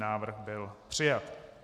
Návrh byl přijat.